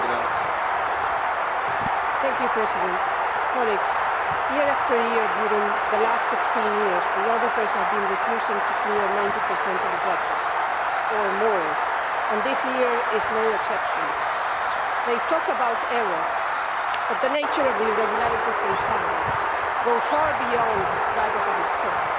Mr President, year after year over the last 16 years, the auditors have been refusing to clear 90 or more of the budget, and this year is no exception. They talk about errors, but the nature of the irregularities they find goes far beyond that of a mistake.